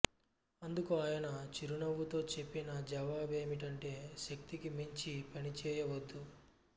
అందుకు ఆయన చిరునవ్వుతో చెప్పిన జవాబేమిటంటే శక్తికి మించి పనిచేయవద్దు